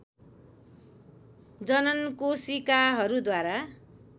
जननकोशिकाहरू द्वारा